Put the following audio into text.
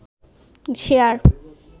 share